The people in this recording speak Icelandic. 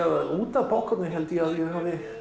og út af poppkorni hafi